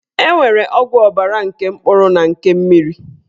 E nwere ọgwụ ọbara nke mkpụrụ na nke mmiri